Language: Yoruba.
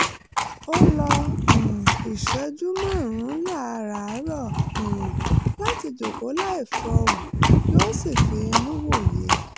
ó lo um ìṣẹ́jú márùn-ún láràárọ̀ um láti jókòó láì fọhùn kí ó sì fi inú wòye